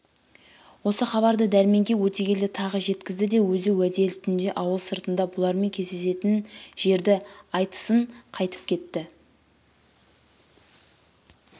осы хабарды дәрменге өтегелді тағы жеткізді де өзі уәделі түнде ауыл сыртында бұлармен кездесетін жерді айтысынқайтыпкетті